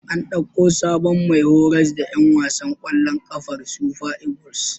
An ɗauko sabon mai horas da ƴan wasan ƙwallon ƙafar Super Eagles.